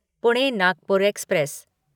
Pune Nagpur express